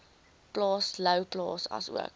plaas louwplaas asook